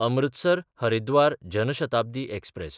Amritsar-Haridwar Jan Shatabdi express